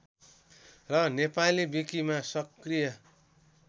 र नेपाली विकिमा सक्रिय